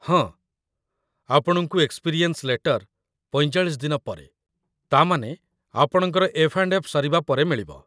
ହଁ, ଆପଣଙ୍କୁ experience letter ୪୫ ଦିନ ପରେ, ତା'ମାନେ, ଆପଣଙ୍କର ଏଫ୍‌.ଏନ୍‌.ଏଫ୍‌ ସରିବା ପରେ ମିଳିବ ।